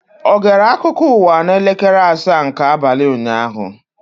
Ọ gere akụkọ ụwa n'elekere asaa nke abalị ụnyaahụ?